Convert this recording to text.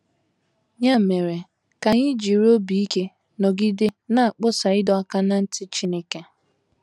Ya mere ka anyị jiri obi ike nọgide na - akpọsa ịdọ aka ná ntị Chineke!